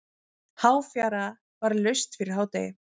Háfjara var laust fyrir hádegi.